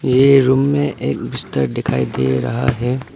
ये रूम में एक बिस्तर दिखाई दे रहा है।